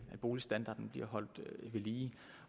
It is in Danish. boligstandarden bliver holdt ved lige